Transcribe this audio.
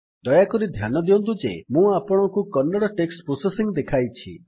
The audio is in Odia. ଦୟାକରି ଧ୍ୟାନ ଦିଅନ୍ତୁ ଯେ ମୁଁ ଆପଣଙ୍କୁ କନ୍ନଡ଼ ଟେକ୍ସଟ୍ ପ୍ରୋସେସିଙ୍ଗ୍ ଦେଖାଇଛି